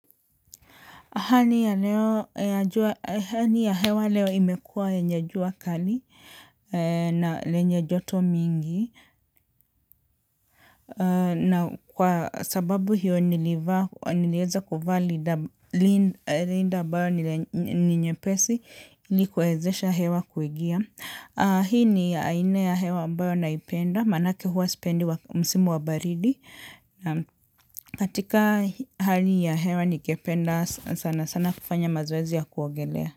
Hali ya hewa leo imekua yenye jua kali na lenye joto mingi. Na kwa sababu hiyo nilivaa, nilieza kuvaa rinda ambayo ni nyepesi, ili kuezesha hewa kuingia. Hii ni aina ya hewa ambayo naipenda, manake huwa sipendi msimu wa baridi. Na katika hali ya hewa ningependa sana sana kufanya mazoezi ya kuogelea.